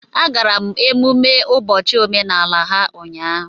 Agara m emumme ụbọchị omenala ha ụnyahụ